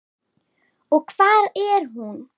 Og hvar er hún?